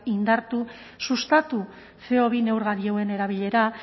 indartu sustatu ce o bi neurgailuen erabilera